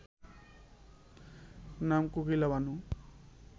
নাম কোকিলা বানু।